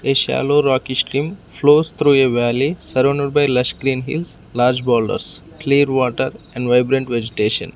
a shallow rocky stream flows through a valley surrounded by lush green hills large boulders clear water and vibrant vegetation.